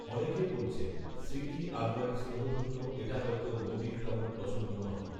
অনেকে বলছেন স্মৃতি আডবাণীর স্নেহধন্য এটা হয়তো মোদীর তেমন পছন্দ নয়